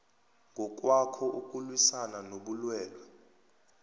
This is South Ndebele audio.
ngokwakho ukulwisana nobulwele